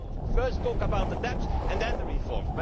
Not to first talk about the debt and then the reforms.